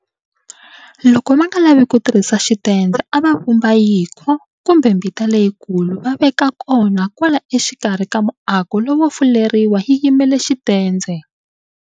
Loko va nga lavi ku tirhisa xitendze a va vumba yinkho kumbe mbita leyikulu va veka yona kwala xikarhi ka muako lowo fuleriwa yi yimela xitendze.